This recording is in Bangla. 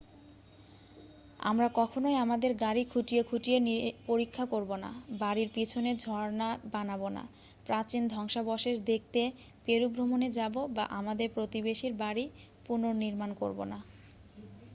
আমরা কখনই আমাদের গাড়ি খুঁটিয়ে খুঁটিয়ে পরীক্ষা করব না বাড়ির পিছনে ঝর্ণা বানাব না প্রাচীন ধ্বংসাবশেষ দেখতে পেরু ভ্রমণে যাব বা আমাদের প্রতিবেশীর বাড়ি পুনর্নিমাণ করব না